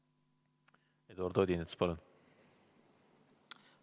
Eduard Odinets, palun!